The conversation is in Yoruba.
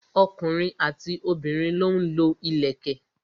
ọkùnrin àti obìnrin lọ ń lo ìlẹ̀kẹ̀.